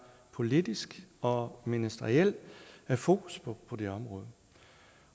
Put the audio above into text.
politisk og ministeriel fokus på det her område